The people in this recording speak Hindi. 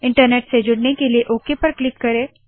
इन्टरनेट से जुड़ने के लिए ओक पर क्लिक करे